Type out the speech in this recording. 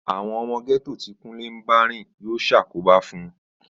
Àwọn ọmọ gẹ́tò tí Kúnlé ń bá rìn yóò ṣàkóbá fún